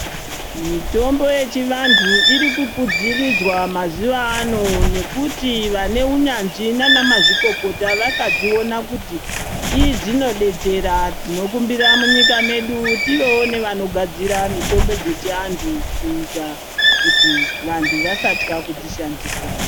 Mitombo yechivantu iri kukwiridzirwa mazuano nekuti vaneunyanzvi nana mazvikokota vakadziona kuti idzinodetsera tinokumbira munyika mwedu tivewo nevanogadzira mutombo dzyechivantu kuita kuti vantu vasatya kudzishandisa .